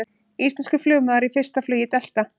Íslenskur flugmaður í fyrsta flugi Delta